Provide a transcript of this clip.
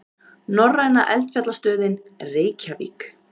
Norræna eldfjallastöðin, Reykjavík.